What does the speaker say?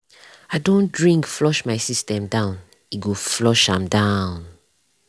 i don't drink flush my system down e go flush am down.